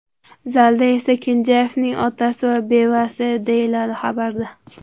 Zalda esa Kenjayevning otasi va bevasi”, deyiladi xabarda.